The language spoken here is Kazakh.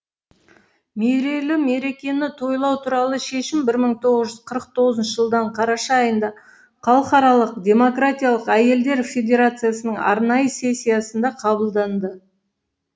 мерейлі мерекені тойлау туралы шешім мың тоғыз жүз қырық тоғыз жылдан қараша айында халықаралық демократиялық әйелдер федерациясының арнайы сессиясында қабылданды